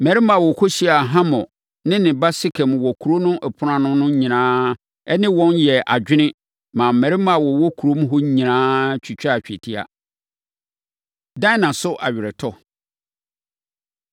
Mmarima a wɔkɔhyiaa Hamor ne ne ba Sekem wɔ kuro no ɛpono ano no nyinaa ne wɔn yɛɛ adwene maa mmarima a wɔwɔ kurom hɔ nyinaa twitwaa twetia. Dina So Aweretɔ